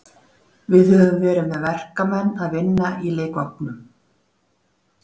Við höfum verið með verkamenn að vinna í leikvangnum.